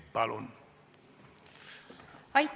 Palun!